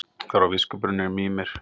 Þar var viskubrunnurinn Mímir.